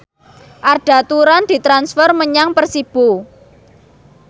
Arda Turan ditransfer menyang Persibo